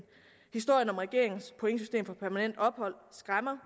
historien om regeringens pointsystem for permanent ophold skræmmer